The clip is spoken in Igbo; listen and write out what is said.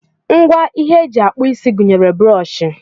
Ngwa ihe eji akpụ isi gụnyere brọọshị